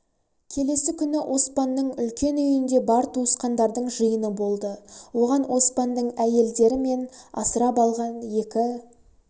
келесі күні оспанның үлкен үйінде бар туысқандардың жиыны болды оған оспанның әйелдері мен асырап алған екі